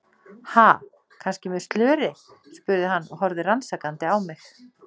Ha, kannski með slöri? spurði hann og horfði rannsakandi á mig.